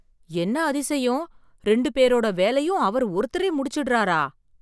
என்ன அதிசயம் ரெண்டு பேரோட வேலையும் அவர் ஒருத்தரே முடிச்சுடுறாரா!